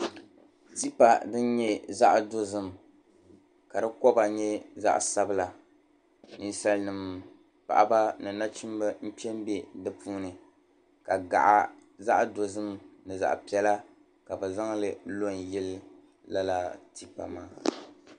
Tipa din nyɛ zaɣ' dozim ka di kɔba nyɛ zaɣ' sabila. Ninsalinima paɣiba ni nachimba kpe m-be di puuni ka gaɣa zaɣ' dozim ni zaɣ' piɛla ka bɛ zaŋ li lo n-yili lala tipa maa.